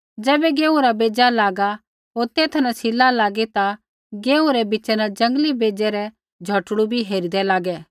ज़ैबै गेहूँ रा बेज़ा लगा होर तेथा न सिला लागै ता गेहूँ रै बिच़ा न जंगली बेज़ै रै झ़ोटड़ू बी हेरिदै लागै